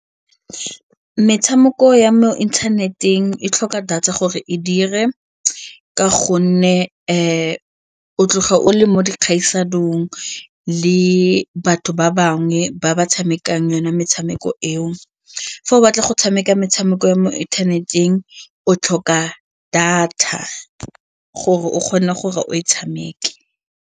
Metshameko ya mo inthaneteng e tlhoka data gore e dire ka gonne o tloga o le mo dikgaisanong le batho ba bangwe ba ba tshamekang yona metshameko eo. Fa o batla go tshameka metshameko ya mo inthaneteng o tlhoka data gore o kgone gore o e tshameke.